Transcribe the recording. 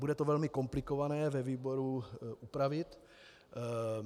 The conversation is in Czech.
Bude to velmi komplikované ve výboru upravit.